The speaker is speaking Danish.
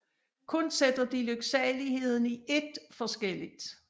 Kun sætter de lyksaligheden i ét forskelligt